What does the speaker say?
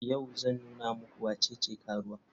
Yau zan nuna muku wacece karuwa.